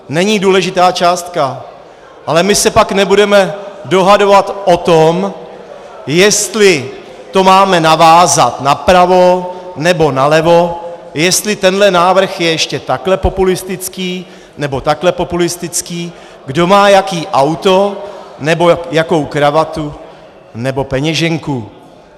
Není důležitá částka, ale my se pak nebudeme dohadovat o tom, jestli to máme navázat napravo, nebo nalevo, jestli tenhle návrh je ještě takhle populistický, nebo takhle populistický, kdo má jaký auto nebo jakou kravatu nebo peněženku.